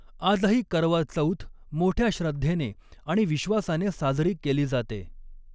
आजही करवा चौथ मोठ्या श्रद्धेने आणि विश्वासाने साजरी केली जाते.